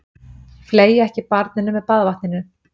Fleygja ekki barninu með baðvatninu.